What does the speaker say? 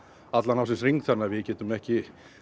allan ársins hring þannig að við getum ekki